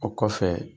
O kɔfɛ